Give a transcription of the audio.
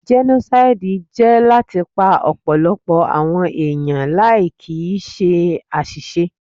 Jẹ́nósáídì jẹ́ láti pa ọ̀pọ̀lọpọ̀ àwọn èèyàn láì kìíse àṣìṣe